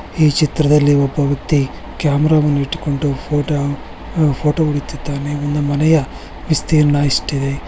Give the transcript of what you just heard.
ಈ ಚಿತ್ರದಲ್ಲಿ ಒಬ್ಬ ವ್ಯಕ್ತಿ ಕ್ಯಾಮರಾವನ್ನು ಇಟ್ಟುಕೊಂಡು ಫೋಟೋ ಹೊಡೀತಿದ್ದಾನೆ ಮನೆಯ ವಿಸ್ತೀರ್ಣ ಇಷ್ಟಿದೆ.